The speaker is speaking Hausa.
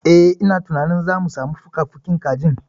Eh, ina tunanin zamu samu fukafukin kajin.